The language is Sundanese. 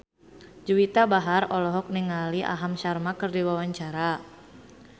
Juwita Bahar olohok ningali Aham Sharma keur diwawancara